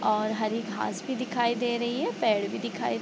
और हरी घास भी दिखाई दे रही है पेड़ भी दिखाई --